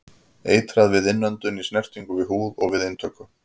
Eitrað við innöndun, í snertingu við húð og við inntöku.